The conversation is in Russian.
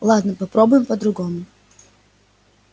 ладно попробуем по-другому